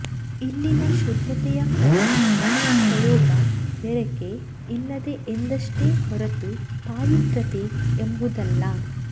ಇಲ್ಲಿನ ಶುದ್ಧತೆಯ ಪದ ಪ್ರಯೋಗ ಬೆರಕೆ ಇಲ್ಲದ ಎಂದಷ್ಟೇ ಹೊರತು ಪಾವಿತ್ರ್ಯತೆ ಎಂಬುದಲ್ಲ